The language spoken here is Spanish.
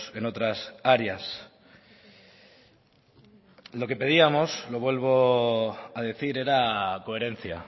en otras áreas lo que pedíamos lo vuelvo a decir era coherencia